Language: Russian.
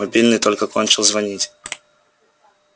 мобильный только кончил звонить